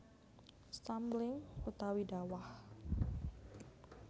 Stumbling utawi dawah